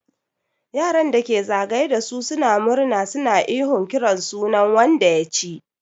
Yaran da ke za gaye da su suna murna suna ihon kiran sunan wanda ya ci.